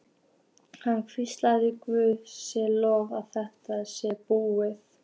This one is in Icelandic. Hann hvíslaði: Guði sé lof að þetta er næstum búið.